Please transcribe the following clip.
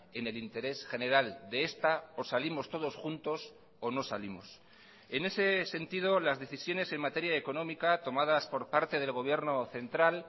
en el interés general de esta o salimos todos juntos o no salimos en ese sentido las decisiones en materia económica tomadas por parte del gobierno central